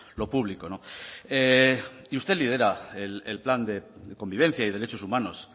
lo público no y usted lidera el plan de convivencia y derechos humanos